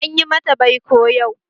Anyi mata baiko yau